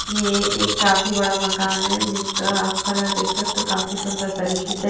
यह एक काफी बड़ा मकान है जिसका आप कलर देख सकते हो काफी सुंदर तरीके से--